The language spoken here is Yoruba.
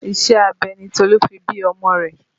Iṣẹ́ abẹ ni Tolu fi bí ọmọ rẹ̀